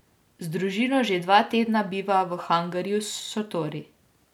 Z družino že dva tedna biva v hangarju s šotori.